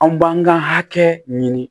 Anw b'an ka hakɛ ɲini